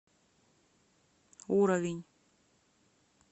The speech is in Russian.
уровень